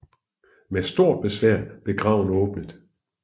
Med stort besvær blev graven åbnet